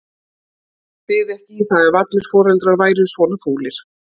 Hann byði ekki í það ef allir foreldrar væru svona fúlir.